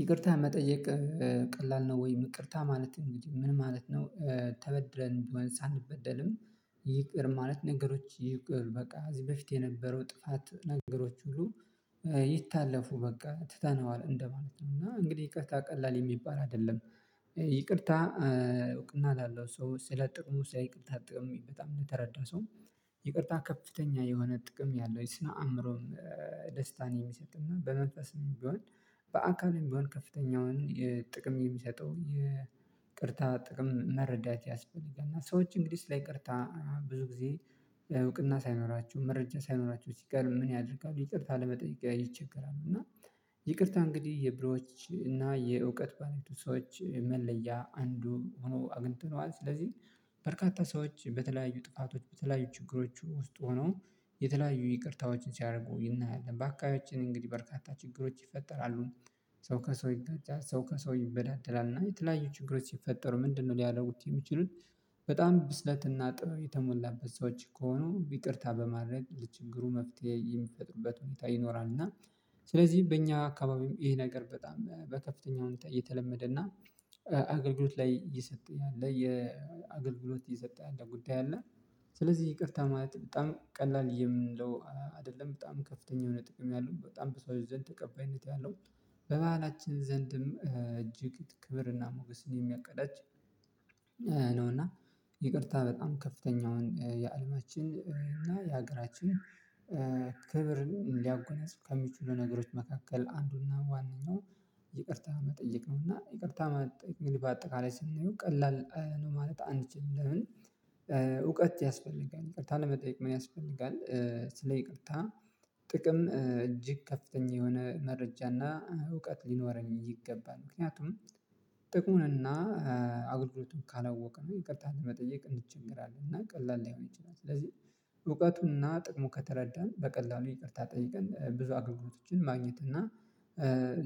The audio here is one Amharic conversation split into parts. ይቅርታ መጠየቅ ቀላል ነው። ወይ ይቅርታ ማለት እንግዲህ ምን ማለት ነው? ተበድለን ቢሆን ሳንበደልም ይቅር ማለት ነገሮች ይቅር በቃ እዚህ በፊት የነበረው ጥፋት ነገሮች ሁሉ ይታለፉ በቃ ትተነዋል እንደማለት ነው። እና እንግዲህ ይቅርታ ቀላል የሚባል አይደለም። ይቅርታ እውቅና ላለው ሰው ስለ ጥቅሙ ሳይ ስለ ይቅርታ ጥቅም በጣም ለተረዳ ሰውም ይቅርታ ከፍተኛ የሆነ ጥቅም ያለው የስነ አእምሮም ደስታን የሚሰጥና በመንፈስም ቢሆን በአካልም ቢሆን ከፍተኛውን ጥቅም የሚሰጠው የቅርታ ጥቅም መረዳት ያስፈልጋል። እና ሰዎች እንግዲህ ስለ ይቅርታ ብዙ ጊዜ እውቅና ሳይኖራቸው መረጃ ሳይኖራቸው ሲቀር ምን ያደርጋሉ ይቅርታ ለመጠየቅ ይቸገራሉ። እና ይቅርታ እንግዲህ የብሮች እና የእውቀት ባለቤቱ ሰዎች መለያ አንዱ ሆኖ አግኝተነዋል። ስለዚህ በርካታ ሰዎች በተለያዩ ጥቃቶች በተለያዩ ችግሮቹ ውስጥ ሆነው የተለያዩ ይቅርታዎችን ሲያርጉ እናያለን። በአካባቢችን እንግዲህ በርካታ ችግሮች ይፈጠራሉ። ሰው ከሰው ይጋጫል ሰው ከሰው ይበዳደላል እና የተለያዩ ችግሮች ሲፈጠሩ ምንድነው ሊያደርጉት የሚችሉት? በጣም ብስለት እና ጥበብ የተሞላበት ሰዎች ከሆኑ ይቅርታ በማድረግ ለችግሩ መፍትሄ የሚፈጥሩበት ሁኔታ ይኖራልና። እና ስለዚህ በእኛ አካባቢም ይሄ ነገር በጣም በከፍተኛ ሁኔታ እየተለመደ እና አገልግሎት ላይ የሰጠ ያለ የአገልግሎት የሰጠ ያለ ጉዳይ አለ። ስለዚህ ይቅርታ ማለት በጣም ቀላል የምንለው አይደለም በጣም ከፍተኛ የሆነ ጥቅም ያለው በጣም በሰዎች ዘንድ ተቀባይነት ያለው በባህላችን ዘንድም እጅግ ክብርና ሞገስን የሚያቀዳጅ ነው። እና ይቅርታ በጣም ከፍተኛውን የአለማችን እና የሀገራችን ክብር ሊያጎናጽፍ ከሚችሉ ነገሮች መካከል አንዱና ዋነኛው ይቅርታ መጠየቅ ነው። እና ይቅርታ መጠየቅ እንግዲህ በአጠቃላይ ስናየው ቀላል ነው ማለት አንችልም። ለምን? እውቀት ያስፈልጋል ይቅርታ ለመጠየቅ ምን ያስፈልጋል? ስለ ይቅርታ ጥቅም እጅግ ከፍተኛ የሆነ መረጃና እውቀት ሊኖረኝ ይገባል። ምክንያቱም ጥቁሙንና አገልግሎቱን ካላወቅን ይቅርታ ለመጠየቅ እንቸገራለን። እና ቀላል ላይሆን ይችላል። ስለዚህ እውቀቱና ጥቅሙ ከተረዳን በቀላሉ ይቅርታ ጠይቀን ብዙ አገልግሎቶችን ማግኘት እና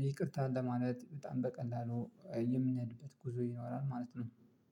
ይቅርታን ለማለት በጣም በቀላሉ የምንሄድበት ጉዞ ይኖራል ማለት ነው።